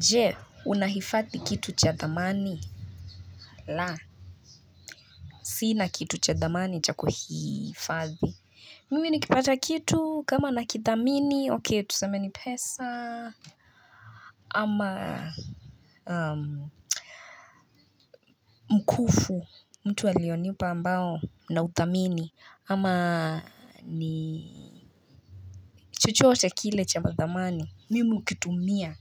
Je unahifadhi kitu cha dhamani? La sina kitu ya dhamani cha kuhifadhi mimi nikipata kitu kama nakidhamini okay tuseme ni pesa ama mkufu mtu alionipa ambao na uthamini ama ni chochote kile cha madhamani mimi ukitumia.